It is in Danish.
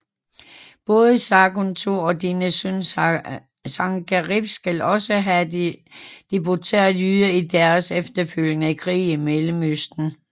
Både Sargon II og dennes søn Sankerib skal også have deporteret jøder i deres efterfølgende krige i Mellemøsten